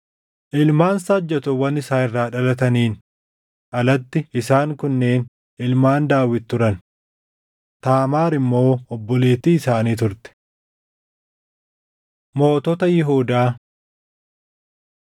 Ilmaan saajjatoowwan isaa irraa dhalataniin alatti isaan kunneen ilmaan Daawit turan. Taamaar immoo obboleettii isaanii turte. Mootota Yihuudaa